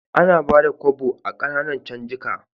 Ana Bada Kobo a Kananan canjika